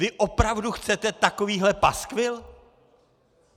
Vy opravdu chcete takovýhle paskvil?